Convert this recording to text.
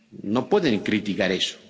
No pueden criticar eso